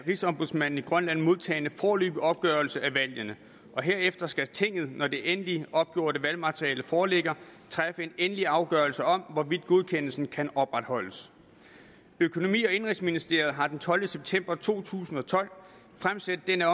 rigsombudsmanden i grønland modtaget foreløbig opgørelse af valgene og herefter skal tinget når det endeligt opgjorte valgmateriale foreligger træffe en endelig afgørelse om hvorvidt godkendelsen kan opretholdes økonomi og indenrigsministeriet har den tolvte september to tusind og tolv fremsendt den